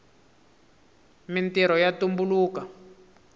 mintrho ya tumbuluka